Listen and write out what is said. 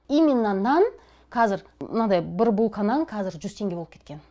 именно нан кәзір мынандай бір булка нан кәзір жүз теңге болып кеткен